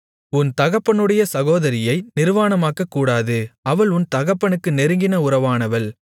உன் தகப்பனுடைய சகோதரியை நிர்வாணமாக்கக்கூடாது அவள் உன் தகப்பனுக்கு நெருங்கின உறவானவள்